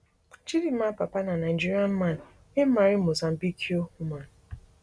chidimma papa na nigerian man wey marry mozambique woman